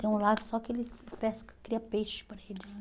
Tem um lago só que eles pescam, cria peixe para eles.